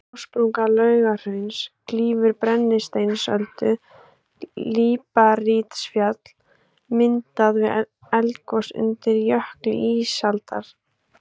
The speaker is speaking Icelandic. Gossprunga Laugahrauns klýfur Brennisteinsöldu, líparítfjall myndað við eldgos undir jökli ísaldar.